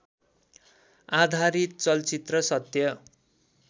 आधारित चलचित्र सत्य